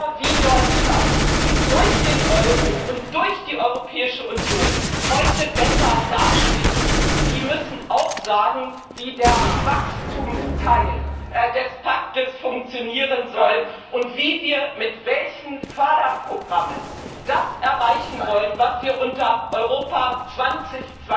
Länder wie Deutschland, die durch den Euro und durch die Europäische Union heute besser dastehen, müssen auch sagen, wie der Wachstumsteil des Paktes funktionieren soll und wie wir mit welchen Förderprogrammen das erreichen wollen, was wir unter Europa 2020